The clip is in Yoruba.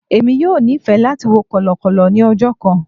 Emi yoo nifẹ lati wo kọlọkọlọ ni ọjọ kan.